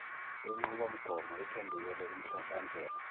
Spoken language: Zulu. yenqubomgomo iphendukele kumhlahlandlela